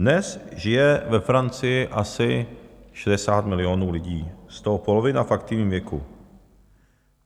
Dnes žije ve Francii asi 60 milionů lidí, z toho polovina v aktivním věku.